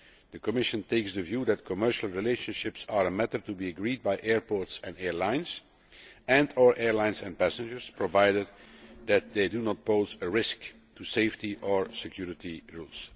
The Commission takes the view that commercial relationships are a matter to be agreed by airports and airlines and our airlines and passengers, provided that they do not pose a risk to safety or security rules.